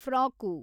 frock